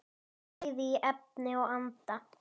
Bæði í efni og anda.